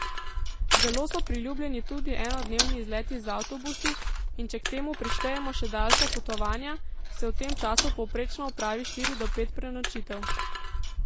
Zelo so priljubljeni tudi enodnevni izleti z avtobusi, in če k temu prištejemo še daljša potovanja, se v tem času povprečno opravi štiri do pet prenočitev.